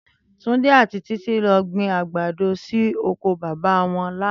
Túndé àti Títí lo gbin àgbàdo sí okò baba won lánàá